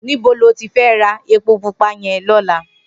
Nibó lóti fè rá épó púpà yèn lòlá?